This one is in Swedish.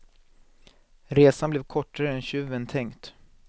Resan blev kortare än tjuven tänkt.